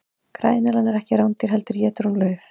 græneðlan er ekki rándýr heldur étur hún lauf